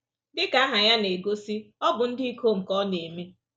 Dị ka aha ya na-egosi, ọ bụ ndị ikom ka ọ na-eme.